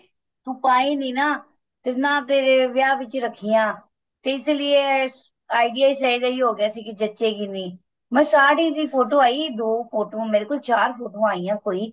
ਤੂੰ ਪੈ ਨੀਂ ਨਾ ਜਿੰਨਾ ਦੇ ਵਿਆਹ ਵਿੱਚ ਹੀ ਰੱਖੀਆਂ ਤੇ ਇਸੀ ਲੀਏ idea ਇਸ ਦਾ ਹੀ ਹੋ ਗਿਆ ਸੀ ਕੀ ਜੱਚੇ ਗੀ ਨੀਂ ਮੈਂ ਸਾੜੀ ਦੀ photo ਆਈ ਦੋ photo ਮੇਰੇ ਕੋਲ ਚਾਰ ਫੋਟੋਆਂ ਆਈਆਂ ਕੋਈ